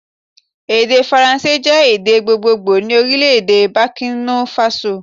Èdè faransé jé èdè gbogbogbò ni Orílèdè Bòkínà Fasò